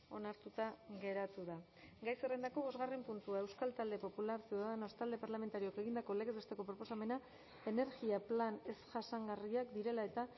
onartuta geratu da gai zerrendako bostgarren puntua euskal talde popular ciudadanos talde parlamentarioak egindako legez besteko proposamena energia plan ez jasangarriak direla eta